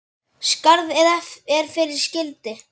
Skarð er fyrir skildi.